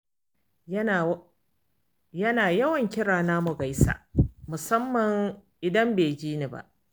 Yana yawan kira na, mu gaisa, musamman idan bai ji ni ba.